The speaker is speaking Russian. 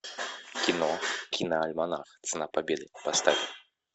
кино киноальманах цена победы поставь